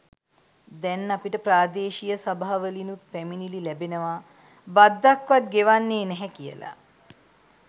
දැන් අපිට ප්‍රාදේශීය සභාවලිනුත් පැමිණිලි ලැබෙනවා බද්දක්වත් ගෙවන්නේ නැහැ කියලා.